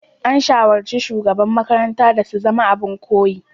An shawarci shugabannin makarantar da su zama abin koyi.